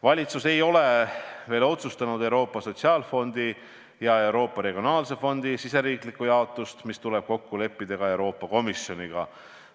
Valitsus ei ole veel otsustanud Euroopa Sotsiaalfondi ja Euroopa Regionaalarengu Fondi riigisisest jaotust, see tuleb kokku leppida Euroopa Komisjoniga.